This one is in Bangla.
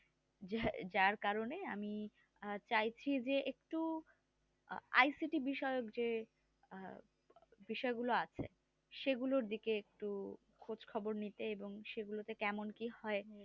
যার কারণে আমি চাইছি যে একটু icity বিষয়ক যে আহ বিষয়গুলো আছে সেগুলোর দিকে একটু খোঁজ খবর নিতে এবং সেগুলো তে কেমন কি হয়